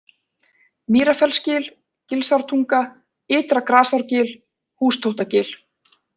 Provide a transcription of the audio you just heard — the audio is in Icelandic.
Mýrarfellsgil, Gilsártunga, Ytra-Grasárgil, Hústóttagil